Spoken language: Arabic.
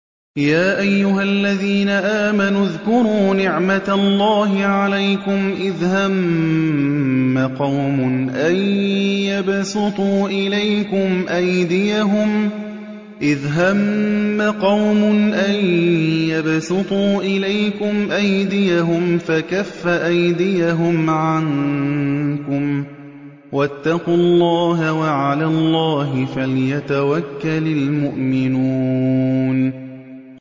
يَا أَيُّهَا الَّذِينَ آمَنُوا اذْكُرُوا نِعْمَتَ اللَّهِ عَلَيْكُمْ إِذْ هَمَّ قَوْمٌ أَن يَبْسُطُوا إِلَيْكُمْ أَيْدِيَهُمْ فَكَفَّ أَيْدِيَهُمْ عَنكُمْ ۖ وَاتَّقُوا اللَّهَ ۚ وَعَلَى اللَّهِ فَلْيَتَوَكَّلِ الْمُؤْمِنُونَ